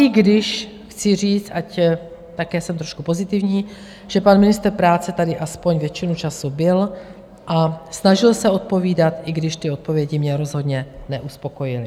I když chci říct, ať také jsem trošku pozitivní, že pan ministr práce tady aspoň většinu času byl a snažil se odpovídat, i když ty odpovědi mě rozhodně neuspokojily.